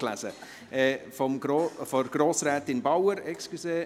Entschuldigen Sie, ich habe Bauen gelesen.